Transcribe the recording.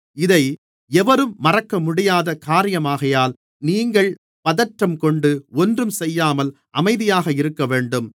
இதை எவரும் மறுக்கமுடியாத காரியமாகையால் நீங்கள் பதற்றங்கொண்டு ஒன்றும் செய்யாமல் அமைதியாக இருக்கவேண்டும்